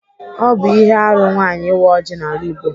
Ọ bụ ihe arụ nwaanyị ịwa ọjị n'ala Igbo.